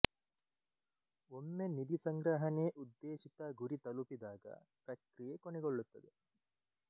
ಒಮ್ಮೆ ನಿಧಿ ಸಂಗ್ರಹಣೆ ಉದ್ದೇಶಿತ ಗುರಿ ತಲುಪಿದಾಗ ಪ್ರಕ್ರಿಯೆ ಕೊನೆಗೊಳ್ಳುತ್ತದೆ